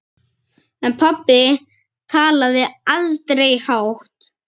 En pabbi talaði aldrei hátt.